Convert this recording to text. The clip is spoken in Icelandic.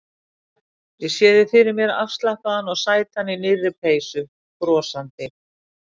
Ég sé þig fyrir mér afslappaðan og sætan í nýrri peysu, brosandi.